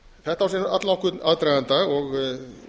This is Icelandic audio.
þetta á sér allnokkurn aðdraganda og